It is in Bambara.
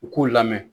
U k'u lamɛn